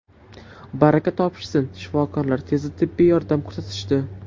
Baraka topishsin shifokorlar tezda tibbiy yordam ko‘rsatishdi.